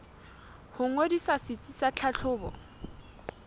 ho ngodisa setsi sa tlhahlobo